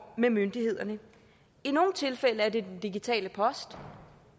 med myndighederne i nogle tilfælde er det den digitale post